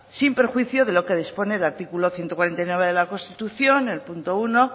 sin perjuicio de lo que dispone el artículo ciento cuarenta y nueve de la constitución el punto uno